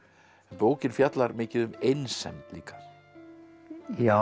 bókin fjallar mikið um einsemd líka já